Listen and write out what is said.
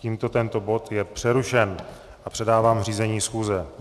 Tímto tento bod je přerušen a předávám řízení schůze.